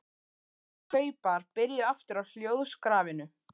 Hann beið eftir að kaupar byrjuðu aftur á hljóðskrafinu.